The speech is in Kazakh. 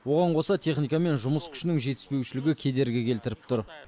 оған қоса техника мен жұмыс күшінің жетіспеушілігі кедергі келтіріп тұр